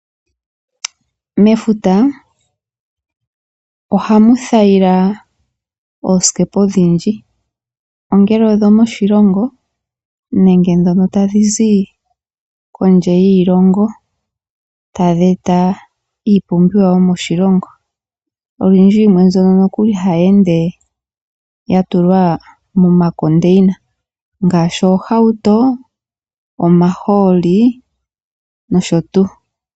Mefuta ohamu thayila oosikepa odhindji. Ongele odho moshilongo nenge dhono tadhi zi kondje yiilongo tadhi eta iipumbiwa yomoshilongo. Oyindji yimwe nokuli mbyoka hayi ende yatulwa momandini, ngaashi oohauto, omahooli nosho tuu.